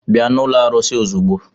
Bịa n'ụlọ arụsị ozugbo!